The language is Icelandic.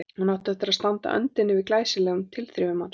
Hún átti eftir að standa á öndinni yfir glæsilegum tilþrifum hans.